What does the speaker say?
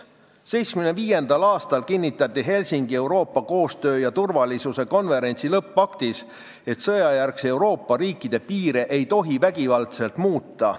1975. aastal kinnitati Helsingis Euroopa Julgeoleku- ja Koostöökonverentsi lõppaktis, et Euroopa riikide sõjajärgseid piire ei tohi vägivaldselt muuta.